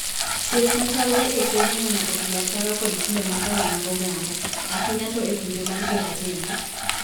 Chuech machalre e keny ineno odhi ataro kod timbe makare mag oganda, ahinya to epinje mag jo ratenge.